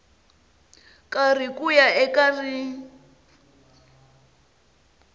karhi ku ya eka rin